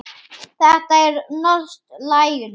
Þetta er norskt læri.